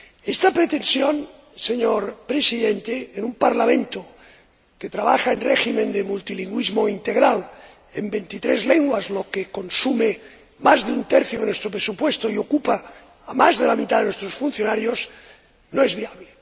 Esta pretensión, en un Parlamento que trabaja en régimen de multilingüismo integral en veintitrés lenguas, lo que consume más de un tercio de nuestro presupuesto y ocupa a más de la mitad de nuestros funcionarios, no es viable.